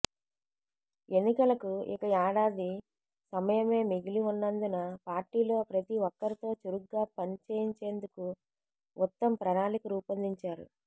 ఎన్నికలకు ఇక ఏడాది సమయమే మిగిలి ఉన్నందున పార్టీలో ప్రతి ఒక్కరితో చురుగ్గా పని చేయించేందుకు ఉత్తమ్ ప్రణాళిక రూపొందించారు